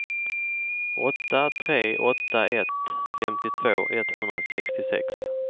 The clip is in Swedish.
åtta tre åtta ett femtiotvå etthundrasextiosex